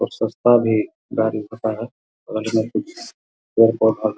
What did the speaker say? और सस्ता भी गाड़ी --